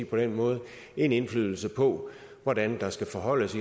på den måde en indflydelse på hvordan der skal forholdes